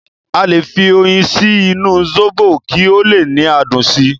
Aale fi oyin sí inú sóbò kí o le ni adùn si